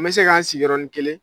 N bɛ se k''an sigi yɔrɔ nin kelen